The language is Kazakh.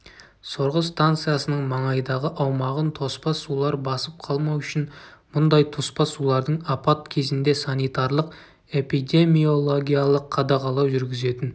сорғы станциясының маңайдағы аумағын тоспа сулар басып қалмау үшін мұндай тоспа сулардың апат кезінде санитарлық-эпидемиологиялық қадағалау жүргізетін